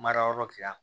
Marayɔrɔ ti yan